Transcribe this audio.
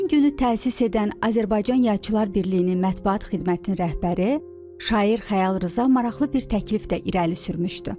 Həmin günü təsis edən Azərbaycan Yazıçılar Birliyinin mətbuat xidmətinin rəhbəri Şair Xəyal Rza maraqlı bir təklif də irəli sürmüşdü.